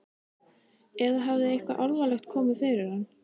Eða hafði eitthvað alvarlegt komið fyrir hann?